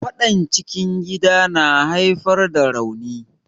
Faɗar cikin gida na haifar da rauni.